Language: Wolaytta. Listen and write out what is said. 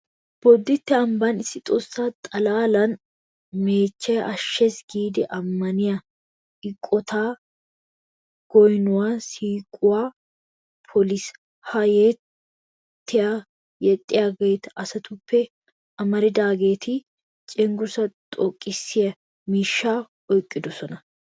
Bodditte ambban issi Xoossa xalaalanne meechchay ashshees giidi ammaniya eqotay goynuwa shiiquwa poliis. Ha yettaa yexxiya asatuppe amaridaageeti cenggurssaa xoqqissiya miishshaa oyqqidosona.